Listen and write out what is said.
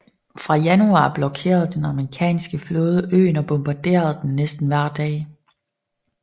Fra januar blokerede den amerikanske flåde øen og bombarderede den næsten hver dag